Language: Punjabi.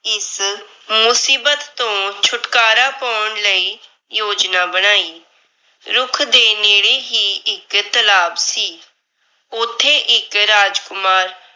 ਇਸ ਮੁਸੀਬਤ ਤੋਂ ਛੁਟਕਾਰਾ ਪੌਣ ਲਈ ਯੋਜਨਾ ਬਣਾਈ। ਰੁੱਖ ਦੇ ਨੇੜੇ ਹੀ ਇੱਕ ਤਲਾਬ ਸੀ। ਉੱਥੇ ਇੱਕ ਰਾਜਕੁਮਾਰ